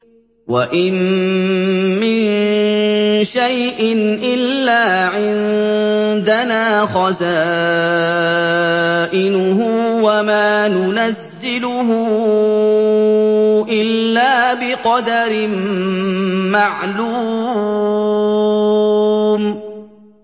وَإِن مِّن شَيْءٍ إِلَّا عِندَنَا خَزَائِنُهُ وَمَا نُنَزِّلُهُ إِلَّا بِقَدَرٍ مَّعْلُومٍ